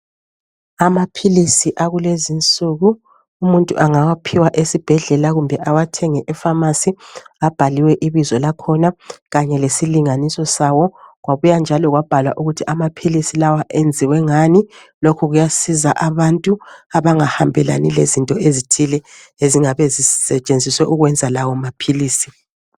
Amaphilisi akulezinsuku umuntu angawaphiwa esibhedlela kumbe awathenge efamasi. Abhaliwe ibizo lakhona kanye lesilinganiso sawo kwabuya njalo kwabhalwa ukuthi amaphilisi lawa enziwe ngani. Lokhu kuyasiza abantu abangahambelani lezinto ezithile ezingabe zisetshenziswe ukwenza lawo maphilisi.